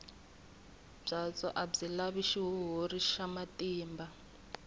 byatso a byi lavi xihuhuri xa matimba